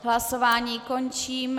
Hlasování končím.